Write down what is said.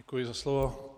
Děkuji za slovo.